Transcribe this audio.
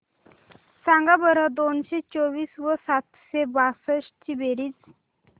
सांगा बरं दोनशे चोवीस व सातशे बासष्ट ची बेरीज